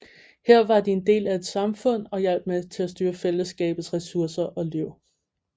Her var de en del af et samfund og hjalp med til at styre fællesskabets ressourcer og liv